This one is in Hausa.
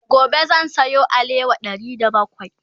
gobe zan Sayo alewa Ɗari da bakwai